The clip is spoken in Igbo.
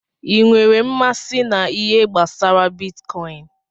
I nwèrè mmasị na ihe gbasara bitkọin?